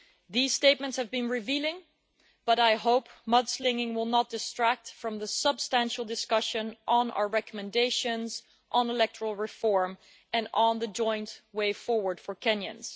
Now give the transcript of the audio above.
These statements have been revealing, but I hope mudslinging will not distract from the substantial discussion on our recommendations on electoral reform and on the joint way forward for Kenyans.